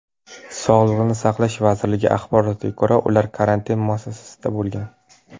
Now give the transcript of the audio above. Sog‘liqni saqlash vazirligi axborotiga ko‘ra, ular karantin muassasasida bo‘lgan .